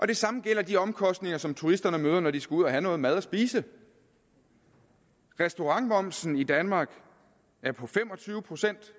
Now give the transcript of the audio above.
det samme gælder de omkostninger som turisterne møder når de skal ud og have noget noget at spise restaurantmomsen i danmark er på fem og tyve procent